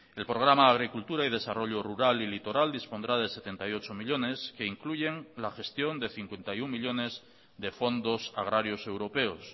el programa agricultura y desarrollo rural y litoral dispondrá de setenta y ocho millónes que incluyen la gestión de cincuenta y uno millónes de fondos agrarios europeos